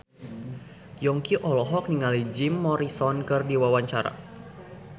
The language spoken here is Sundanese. Yongki olohok ningali Jim Morrison keur diwawancara